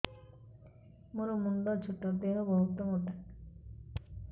ମୋର ମୁଣ୍ଡ ଛୋଟ ଦେହ ବହୁତ ମୋଟା